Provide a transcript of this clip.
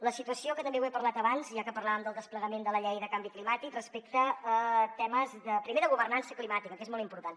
la situació que també n’he parlat abans ja que parlàvem del desplegament de la llei de canvi climàtic respecte a temes primer de governança climàtica que és molt important